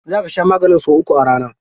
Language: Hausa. Za ka sha maganin sau uku a rana.